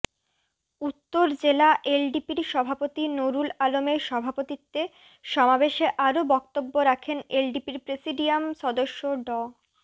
উত্তর জেলা এলডিপির সভাপতি নুরুল আলমের সভাপতিত্বে সমাবেশে আরও বক্তব্য রাখেন এলডিপির প্রেসিডিয়াম সদস্য ড